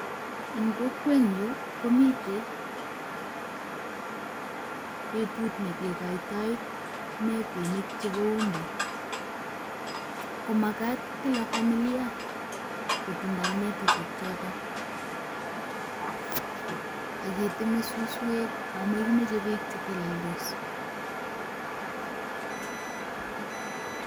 En kokwenyun komiten betut ne kekoitoi netinik chebu mbu. Ko magat kila familia kotindoi netishechoto. Ak keteme suswek, ago mogimoche beek che teleldos.